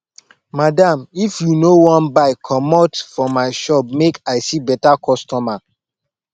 madam if you no wan buy commot for my shop make i see better customer